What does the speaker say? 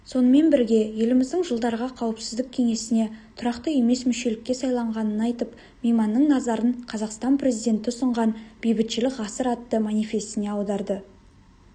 сонымен бірге еліміздің жылдарға қауіпсіздік кеңесіне тұрақты емес мүшелікке сайланғанын айтып мейманның назарын қазақстан президенті ұсынған бейбітшілік ғасыр атты манифесіне аударды